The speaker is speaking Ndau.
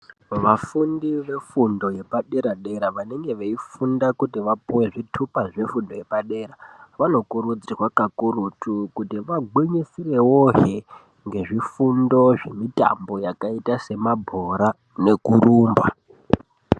Vafundi vefundo yepadera-dera vanenge veifunda kuti vapuve zvitupa zvefundo yepadera. Vanokurudzirwa kakurutu kuti vagwinyisirevohe ngezvifundo zvemitambo yakaita semabhora nekurumba.